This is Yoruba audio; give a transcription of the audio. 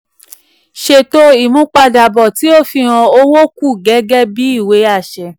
ṣètò ìmúpadàbọ̀ tí ó fihan owó kù gẹ́gẹ́ bí ìwé àṣẹ.